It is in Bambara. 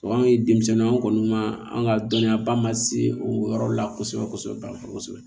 anw ye denmisɛnninw kɔni ma an ka dɔnniyaba ma se o yɔrɔ la kosɛbɛ kosɛbɛ